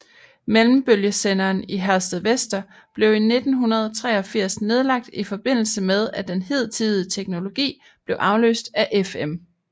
Mellembølgesenderen i Herstedvester blev i 1983 nedlagt i forbindelse med at den hidtidige teknologi blev afløst af FM